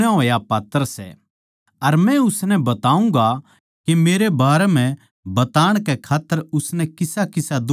अर मै उसनै बताऊँगा के मेरै बारें बताण कै खात्तर उसनै किसाकिसा दुख ठाणा पड़ैगा